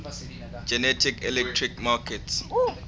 general electric markets